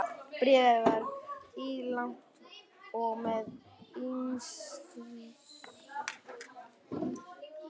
Af hverju er þetta ekki textað?